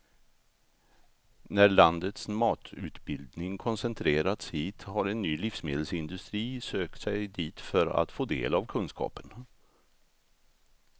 När landets matutbildning koncentrerats hit har en ny livsmedelsindustri sökt sig dit för att få del av kunskapen.